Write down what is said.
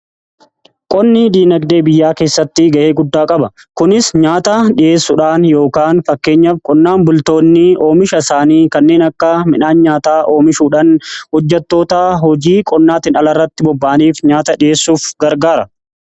Qonni diinagdee biyyaa keessatti ga'ee guddaa qaba kunis nyaata dhi'eessuudhaan yookaan fakkeenya qonnaan bultoonni oomisha isaanii kanneen akka midhaan nyaata oomishuudhaan hojjetoota hojii qonnaatiin ala irratti bobba'aniif nyaata dhi'eessuuf gargaara.